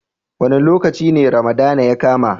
Wa ne lokaci ne Ramadana ya kama?